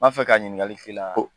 N b'a fɛ ka ɲininkali k'i la